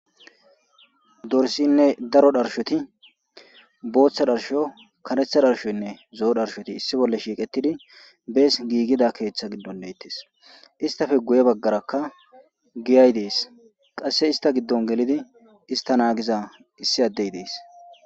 dorsinne daro dharshoti booththa dharsho karetha dharshoynne zo7o dharshoti issi bolle shiiqettidi bees giigida keeththa giddon deettes istafe guye baggarakka giyay dees qasse ista giddon gelidi ista naagiza issi addey dees